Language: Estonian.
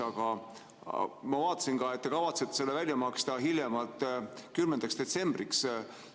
Aga ma vaatasin ka, et te kavatsete selle välja maksta hiljemalt 10. detsembriks.